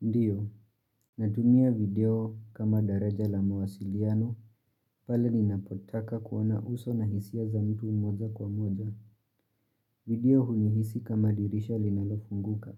Ndiyo, natumia video kama daraja la mawasiliano, pala ninapotaka kuona uso na hisia za mtu moja kwa moja. Video hunihisi kama dirisha linalofunguka.